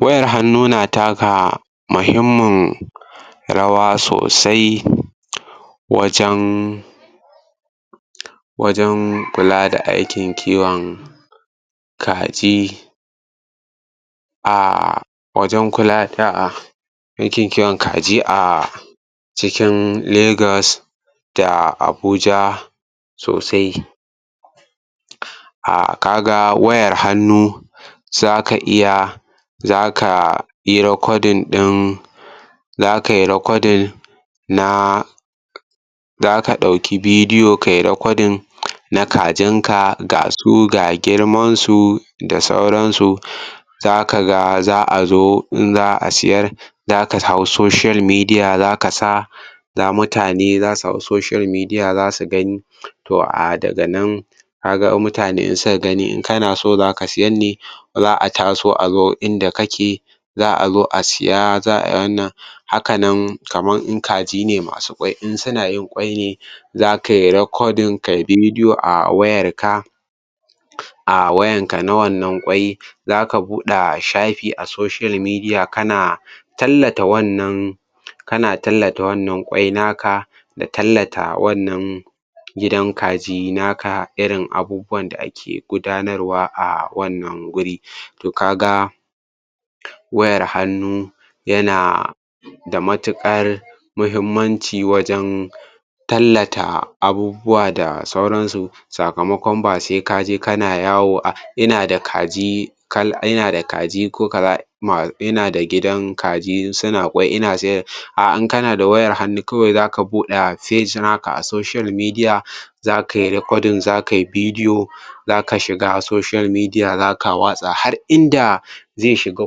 wayar hannu na taka muhimmin rawa sosai wajen wajen kula da aikin kiwon kaji a wajen kula da aikin kiwon kaji a cikin Legas a Abuja sosai a ka ga wayar hannu za ka iya za ka yi recording za kai recording na za ka ɗauki video kai recording na kajinka ga su ga girmasu da sauransu za ka ga za a zo in za a siyar za ka hau social media za ka sa za mutane za su hau social media za su gani to a daga nan ka ga in mutane suka gani in kana so za ka siyar ne za ataso a zo inda kake za azo a siya za a wannan haka nan kamar in kaji ne masu yin ƙwai in suna in ƙwai ne za kai recording kai video a wayarka a wayanka na wannan ƙwai za ka buɗa safi a social media kana tallata wannan kana tallata wannan ƙwai naka da tallata wannan gidan kaji naka irin abubuwan da ake gudanarwa a wannan wuri wayar hannu yana da matuƙar muhimmanci wajen tallata abubuwa da sauransu sakamakon ba sai ka je kana yawo ina da kaji ko kaza midan da gidan kaji suna ƙwai a in kana da wayar hannu za ka buɗe page haka a social media za kai recording za kai video za ka shiga social media za ka watsa har inda zai shiga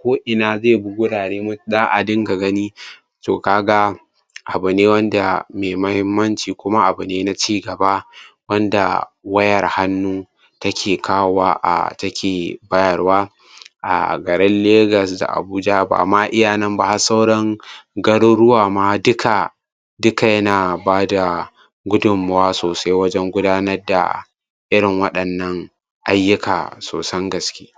koina zai bi gurare za a dinga gani to ka ga abu ne wanda mai mahimmanci kuma abu ne na ci gaba wanda wayar hannu take kawowa a take bayarwa a garin Legas da Abuja ba ma iya nan ba har sauran garuruwa ma duka duka yana ba da gudunmuwa sosai wajen gudanarda irin waɗannan ayyuka sosan gaske.